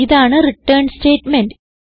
ഇതാണ് return statement